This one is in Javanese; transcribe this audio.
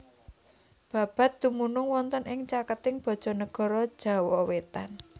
Babat dumunung wonten ing caketing Bojonegoro Jawa wetan